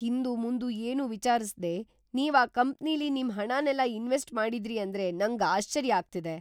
ಹಿಂದುಮುಂದು ಏನೂ ವಿಚಾರ್ಸ್ದೇ ನೀವ್‌ ಆ ಕಂಪ್ನಿಲಿ ನಿಮ್‌ ಹಣನೆಲ್ಲ ಇನ್ವೆಸ್ಟ್‌ ಮಾಡಿದ್ರಿ ಅಂದ್ರೆ ನಂಗ್‌ ಆಶ್ಚರ್ಯ ಆಗ್ತಿದೆ.